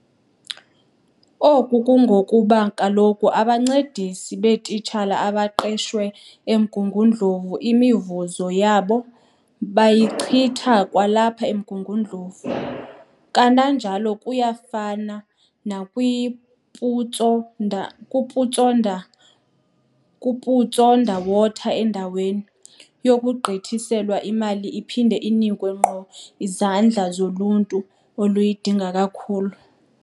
Oku kungokuba kaloku abancedisi beetitshala abaqeshwe eMgungundlovu imivuzo yabo bayichitha kwalapha eMgungundlovu. Kananjalo kuyafana nakwi-Putsonderwater. Endaweni 'yokugqithiselwa' imali iphinde inikwe ngqo izandla zoluntu oluyidinga kakhulu.